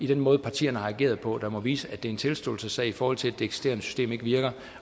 den måde partierne har ageret på der må vise at det er en tilståelsessag i forhold til at det eksisterende system ikke virker